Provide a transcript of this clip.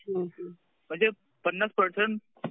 म्हणजे पन्नास पर्सेंट